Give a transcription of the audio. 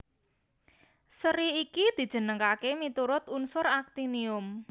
Sèri iki dijenengaké miturut unsur aktinium